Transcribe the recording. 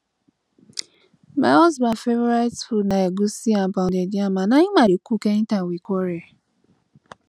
my husband favourite food na egwusi and pounded yam and na im i dey cook anytime we quarrel